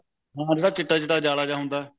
ਹਾਂ ਜਿਹੜਾ ਚਿੱਟਾ ਚਿੱਟਾ ਜਾਲਾ ਜਾ ਹੁੰਦਾ